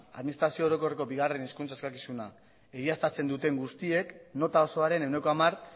administrazio orokorreko bigarrena hezkuntza eskakizuna egiaztatzen duten guztiek nota osoaren ehuneko hamar